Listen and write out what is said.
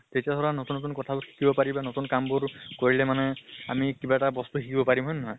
তেতিয়া ধৰা নতুন নতুন কথা বোৰ শিকিব পাৰি বা নতুন কামবোৰ কৰিলে মানে আমি কিবা এটা বস্তু শিকিব পাৰিম, হয় নে নহয়?